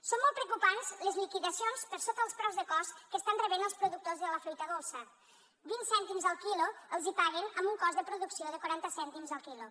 són molt preocupants les liquidacions per sota dels preus de cost que estan rebent els productors de la fruita dolça vint cèntims el quilo els hi paguen amb un cost de producció de quaranta cèntims el quilo